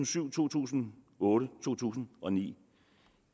syv to tusind og otte og to tusind og ni